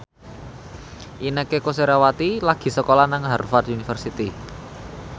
Inneke Koesherawati lagi sekolah nang Harvard university